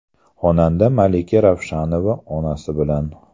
Xonanda Malika Ravshanova onasi bilan.